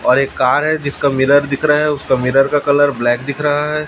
और एक कार है जिसका मिरर दिख रहा हैं उसका मिरर का कलर ब्लैक दिख रहा है।